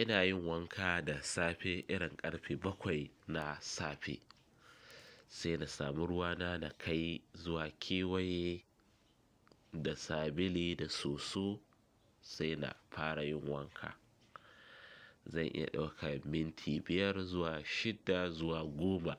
Ina yin wanka da safe irin karfe bakwai na safe, sai na samu ruwa na na kai, zuwa kewaye, da sabili, da soso. Sai na fara yin wanka. Zan iya ɗaukan minti biyar, zuwa shidda, zuwa goma,